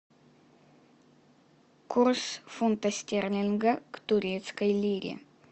курс фунта стерлинга к турецкой лире